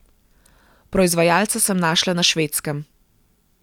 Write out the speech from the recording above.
Proizvajalca sem našla na Švedskem.